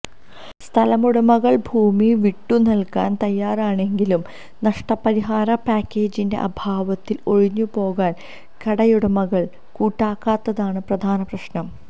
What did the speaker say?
സ്ഥലമുടമകള് ഭൂമി വിട്ടുനല്കാന് തയാറാണെങ്കിലും നഷ്ടപരിഹാര പാക്കേജിന്റെ അഭാവത്തില് ഒഴിഞ്ഞുപോകാന് കടയുടമകള് കൂട്ടാക്കാത്തതാണ് പ്രധാന പ്രശ്നം